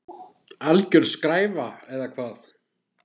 Alger skræfa eða hvað?